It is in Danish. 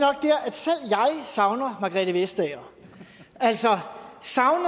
savner margrethe vestager altså savner